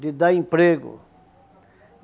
de dar emprego.